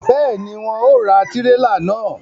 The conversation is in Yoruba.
Béèni, wọn ò ra tirela náà